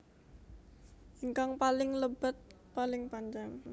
Ingkang paling lebet paling panjang